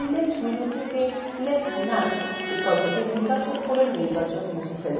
select menu থেকে select none বিকল্পটি নির্বাচন করে নির্বাচনটি মুছে ফেলুন